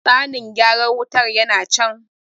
tsanin gyaran wutar yana can